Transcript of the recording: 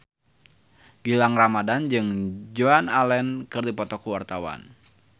Gilang Ramadan jeung Joan Allen keur dipoto ku wartawan